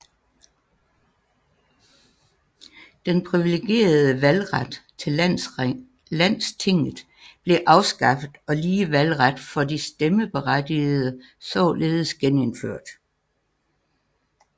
Den privilegerede valgret til landstinget blev afskaffet og lige valgret for de stemmeberettigede således genindført